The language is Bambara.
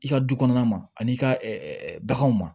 I ka du kɔnɔna ma ani i ka baganw ma